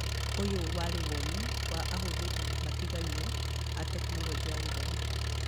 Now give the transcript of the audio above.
ũyũ warĩ mawoni ma ahũthĩri matigaine a Tekinoronjĩ ya Gĩthomo.